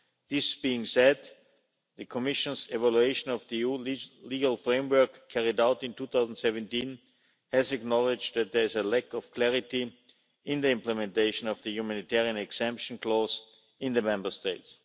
That being said, the Commission's evaluation of the EU's legal framework, carried out in 2017, has acknowledged that there is a lack of clarity in the implementation of the humanitarian exemption clause in the Member States.